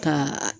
Ka